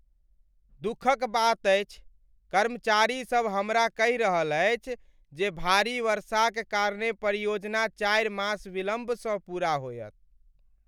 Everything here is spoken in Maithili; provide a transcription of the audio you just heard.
दुखक बात अछि। कर्मचारीसब हमरा कहि रहल अछि जे भारी वर्षाक कारणेँ परियोजना चारि मास विलम्बसँ पूरा होयत।